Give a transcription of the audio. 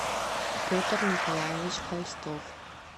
петр николаевич холстов